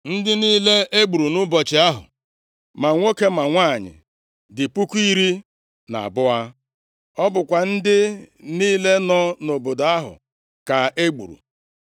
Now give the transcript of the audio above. Ndị niile e gburu nʼụbọchị ahụ, ma nwoke ma nwanyị dị puku iri na abụọ. Ọ bụkwa ndị niile nọ nʼobodo ahụ ka e gburu.